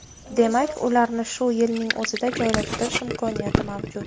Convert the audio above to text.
Demak, ularni shu yilning o‘zida joylashtirish imkoniyati mavjud.